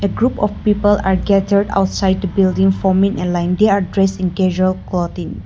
group of people are gathered outside the building form in a line they are dressing casual clothing.